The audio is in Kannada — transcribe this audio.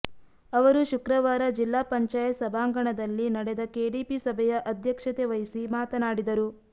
ಅವರು ಶುಕ್ರವಾರ ಜಿಲ್ಲಾ ಪಂಚಾಯತ್ ಸಭಾಂಗಣದಲ್ಲಿ ನಡೆದ ಕೆಡಿಪಿ ಸಭೆಯ ಅಧ್ಯಕ್ಷತೆ ವಹಿಸಿ ಮಾತನಾಡಿದರು